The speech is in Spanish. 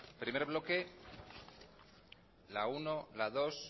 primer bloque la uno las dos